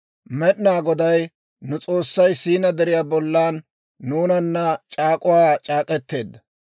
Med'inaa Goday nu S'oossay Siinaa Deriyaa bollan nuunana c'aak'uwaa c'aak'k'eteedda.